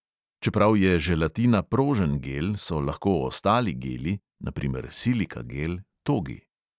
Čeprav je želatina prožen gel, so lahko ostali geli (na primer silikagel) togi.